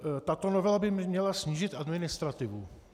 Tato novela by měla snížit administrativu.